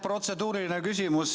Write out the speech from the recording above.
Protseduuriline küsimus.